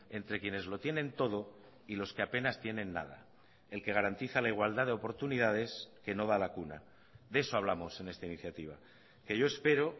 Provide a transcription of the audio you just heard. entre quienes lo tienen todo y los que apenas tienen nada el que garantiza la igualdad de oportunidades que no da la cuna de eso hablamos en esta iniciativa que yo espero